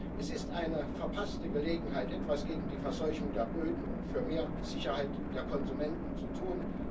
Es ist eine verpasste Gelegenheit, etwas gegen die Verseuchung der Böden und für mehr Sicherheit der Konsumenten zu tun.